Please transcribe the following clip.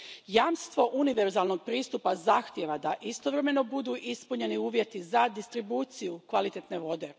Jamstvo univerzalnog pristupa zahtijeva da istovremeno budu ispunjeni uvjeti za distribucije kvalitetne vode.